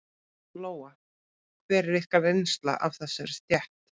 Lóa: Hver er ykkar reynsla af þessari stétt?